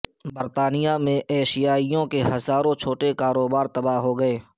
برطانیہ میں ایشیائیوں کے ہزاروں چھوٹے کاروبار تباہ ہو گئے